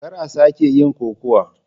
Kar a sake yin kokawa.